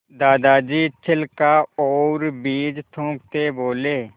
दादाजी छिलका और बीज थूकते बोले